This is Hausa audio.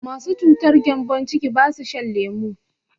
Masu cutar gembon ciki basu shan lemu